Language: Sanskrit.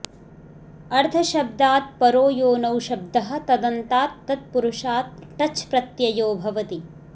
अर्धशब्दात् परो यो नौशब्दः तदन्तात् तत्पुरुषाट् टच् प्रत्ययो भवति